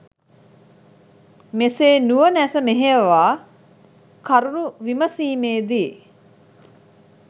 මෙසේ නුවණැස මෙහෙයවා කරුණු විමසීමේ දී